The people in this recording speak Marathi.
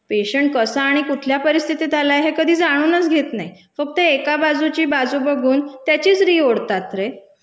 पेशंट कसा आणि कुठल्या परिस्थितीत आलाय हे कधी जाणूनच घेत नाहीत, फक्त एका बाजूची बाजू बघून त्याचीच री ओढतात रे.